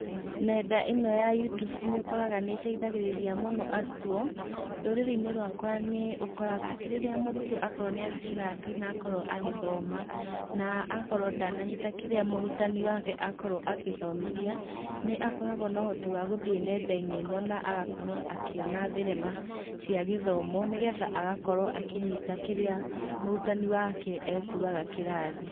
Nenda ĩno ya Youtube nĩũkoraga nĩĩteithagĩrĩria mũno arutwo. Rũrĩrĩ-inĩ rwakwa nĩũkoraga atĩ rĩrĩa mũrutwo akorwo nĩathiĩ kĩrathi na akorwo agĩthoma, na akorwo ndananyita kĩrĩa mũrutani wake akorwo agĩthomithia, nĩakoragwo na ũhoti wa gũthiĩ nenda-inĩ ĩno, na agakorwo akĩona thenema cia gĩthomo, nĩgetha agakorwo akĩnyita kĩrĩa mũrutani wake ekugaga kĩrathi.